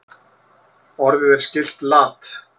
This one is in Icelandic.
Orðið er skylt lat.